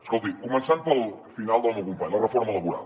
escolti començant pel final del meu company la reforma laboral